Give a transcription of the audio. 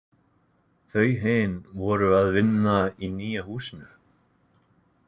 Þau hin voru að vinna í nýja húsinu.